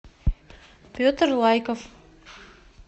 петр лайков